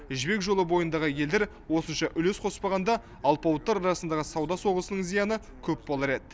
жібек жолы бойындағы елдер осынша үлес қоспағанда алпауыттар арасындағы сауда соғысының зияны көп болар еді